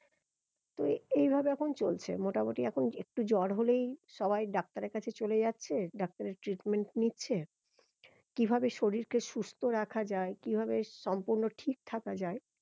তো এইভাবে এখন চলছে মোটামুটি এখন একটু জ্বর হলেই সবাই ডাক্তারের কাছে চলে যাচ্ছে ডাক্তারের treatment নিচ্ছে কি ভাবে শরীর কে সুস্থ রাখা যায় কি ভাবে সম্পূর্ণ ঠিক থাকা যায়